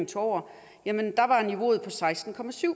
tog over var niveauet på seksten